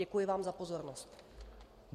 Děkuji vám za pozornost.